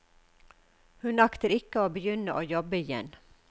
Hun aktet ikke å begynne å jobbe igjen.